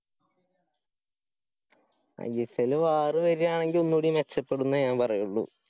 I S എല്ലില് war വരുവാണെങ്കി ഒന്നുകൂടി മെച്ചപ്പെടുന്നെ ഞാന്‍ പറയുള്ളൂ.